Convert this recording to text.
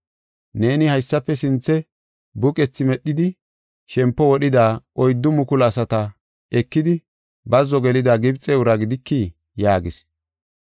Neeni haysafe sinthe buqethi medhidi shempo wodhida oyddu mukulu asata ekidi bazzo gelida Gibxe uraa gidikii?” yaagis.